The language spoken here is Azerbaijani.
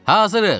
Hazırıq!